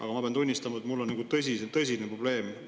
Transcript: Aga ma pean tunnistama, et mul on tõsine probleem.